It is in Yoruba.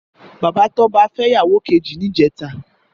Bàbá Toba fè ìyáwó kèjí nijètâ